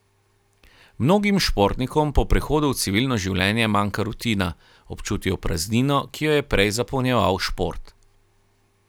Mnogim športnikom po prehodu v civilno življenje manjka rutina, občutijo praznino, ki jo je prej zapolnjeval šport.